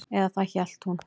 Eða það hélt hún.